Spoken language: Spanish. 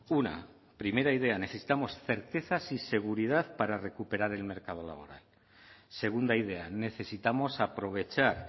una primera idea necesitamos certezas y seguridad para recuperar el mercado laboral segunda idea necesitamos aprovechar